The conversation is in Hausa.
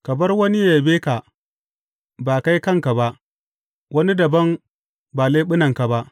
Ka bar wani ya yabe ka, ba kai kanka ba; wani dabam, ba leɓunanka ba.